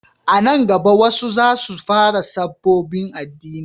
A nan gaba wasu za su fara sabobbin addini